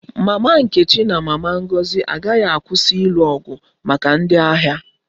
Mama nkechi na mama Ngozi agaghị akwụsị ịlụ ọgụ maka ndị ahịa